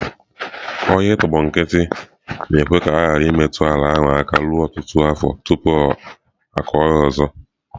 Ọhịa i tọgbọ nkịtị na-ekwe ka a ghara imetụ ala ahụ aka ruo ọtụtụ afọ tupu a kụọ ya ọzọ.